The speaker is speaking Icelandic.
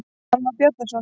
Hann var Bjarnason.